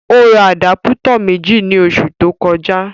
Ó ra àdápútọ̀ méjì ní oṣù tó kọjá